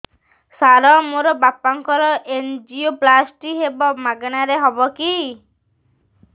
ସାର ମୋର ବାପାଙ୍କର ଏନଜିଓପ୍ଳାସଟି ହେବ ମାଗଣା ରେ ହେବ କି